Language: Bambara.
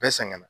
Bɛɛ sɛgɛnna